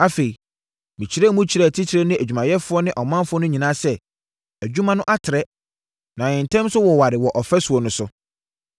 Afei, mekyerɛɛ mu kyerɛɛ atitire ne adwumayɛfoɔ ne ɔmanfoɔ no nyinaa sɛ, “Adwuma no atrɛ, na yɛn ntam nso woware wɔ ɔfasuo no so.